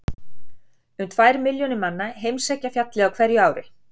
Um tvær milljónir manna heimsækja fjallið á hverju ári.